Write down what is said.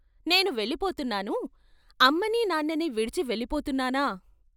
"నేను వెళ్ళిపోతున్నాను అమ్మని, నాన్నని విడిచి వెళ్ళిపోతున్నానా?.....